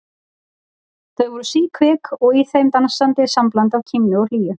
Þau voru síkvik og í þeim dansaði sambland af kímni og hlýju.